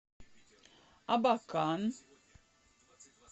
абакан